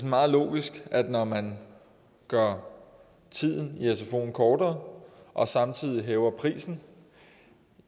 meget logisk at når man gør tiden i sfoen kortere og samtidig hæver prisen